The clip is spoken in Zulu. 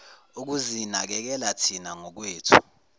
ukuzinakekela thina ngokwethu